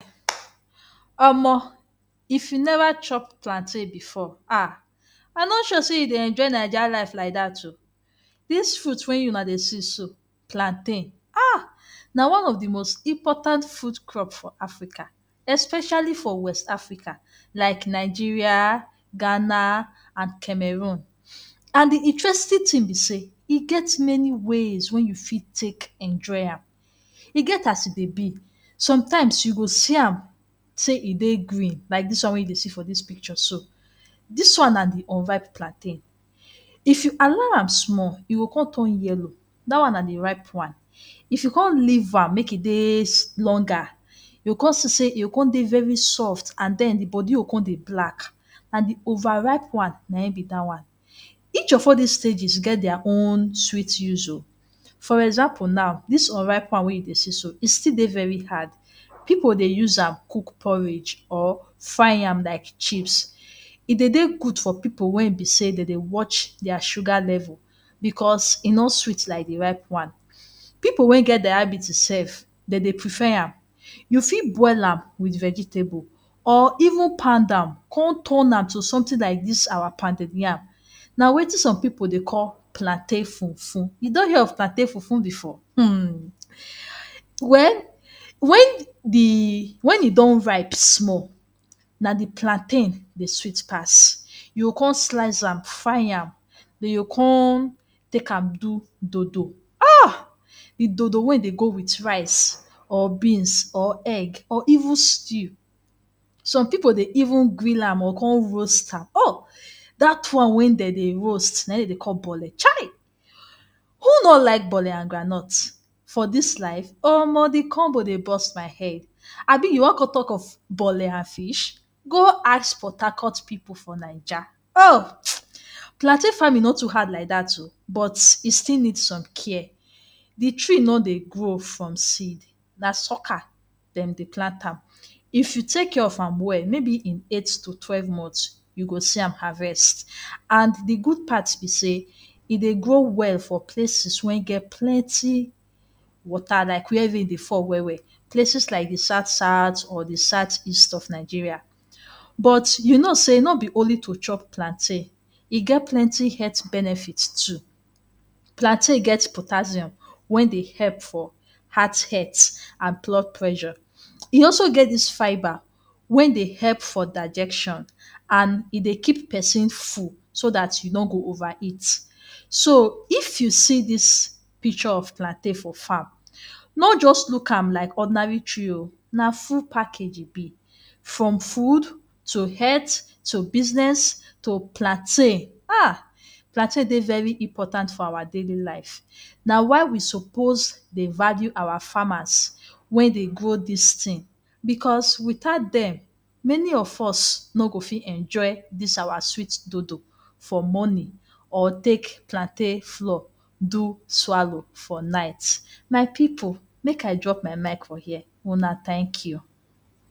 Omo if you never chop plantain before um, I no sure sey you dey enjoy Naija life like dat oo. Dis fruit wey una dey see so plantain na one of de most important food crop for Africa especially for West Africa like Nigeria, Ghana and Cameroon and de interesting thing be sey e get many ways wey you fit take enjoy am. E get as e dey be sometimes you go see am sey e dey green like dis one wey you dey see for dis picture so, dis one na de unripe plantain. If you allow am small e go come turn yellow dat one na de ripe one if you come leave am make e dey longer you come see sey e come dey very soft and den de body go come dey black na de over ripe one na im be dat one. Each of all dis stages get there own sweet use of, for example now dis unripe one wey you dey see so e still dey very hard, pipu dey use am cook porridge or fry am like chips. E dey dey good for pipu wey be sey e dey watch there sugar level because e no sweet like de ripe one. Pipu wey get diabetes sef dem dey prefer am, you fit boil am wit vegetable or even pound am come turn am to something like dis our pounded yam. Na wetin some pipu dey call plantain fufu, you don hear of plantain fufu before? um well wen de wen e don ripe small na de plantain dey sweet pass you come slice fry am, you come take am do dodo, aah, de dodo wey dey go wit rice or beans or egg or even stew. Some pipu dey even grill am or come roast am, um, dat one wey dem dey roast na im dem dey call Bole?, who no like bole and groundnut?, for dis life Omo de combo dey burst my head, abii you wan come talk of bole and fish?, go ask PortHarcourt pipu for Naija um. Plantain farming no too hard like dat oo but e still need some care, de tree no dey grow from seed na sucker dem dey plant am. If you take care of am well maybe in eight to twelve months you go see am harvest and de good part be sey e dey grow well for places wey get plenty water like where rain dey fall well well, places like de south south or south east of Nigeria but you know sey no be only to chop plantain e get plenty health benefit too. Plantain get potassium wey dey help for heart health and blood pressure, e also get dis fibre wey dey help for digestion and e dey keep person full so dat you no go over eat. So if you see dis picture of plantain for farm no just look am like ordinary tree oo na full package e be. From food to health to business to plantain um, plantain dey very important for our daily life, na why we suppose dey value our farmers wey dey grow dis thing because without dem many of us no go fit enjoy dis our sweet dodo for morning or take plantain flour do swallow for night. My pipu make I drop my mic for here, una thank you.